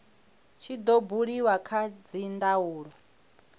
tshi do buliwa kha dzindaulo